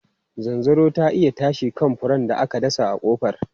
Zanzaro ta iya tashi kan furen da aka dasa a kofar.